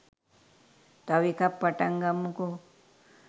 තව එකක් පටන් ගමුකො